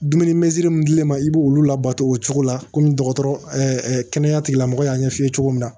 Dumuni mɛsiri mun di l'i ma i b'olu labato o cogo la kɔmi dɔgɔtɔrɔya tigilamɔgɔ y'a ɲɛf'i ye cogo min na